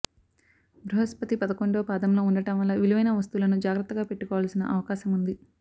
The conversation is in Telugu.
బృహస్పతి పదకొండో పాదంలో ఉండటం వల్ల విలువైన వస్తువులను జాగ్రత్తగా పెట్టుకోవాల్సిన అవకాశముంది